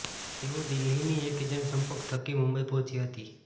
તેઓ દિલ્હીના એક એજન્ટના સંપર્ક થકી મુંબઇ પહોંચી હતી